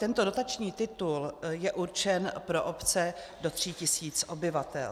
Tento dotační titul je určen pro obce do tří tisíc obyvatel.